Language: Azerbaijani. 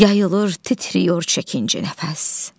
Yayılır, titriyir çəkincə nəfəs.